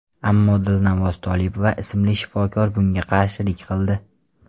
Ammo Dilnavoz Tolipova ismli shifokor bunga qarshilik qildi.